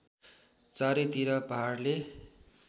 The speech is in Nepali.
चारै तिर पहाडले